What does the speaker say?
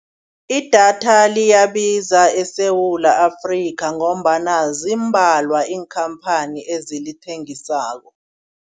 Idatha liyabiza eSewula Afrika ngombana zimbalwa iinkhamphani ezilithengisako.